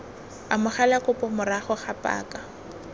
amogela kopo morago ga paka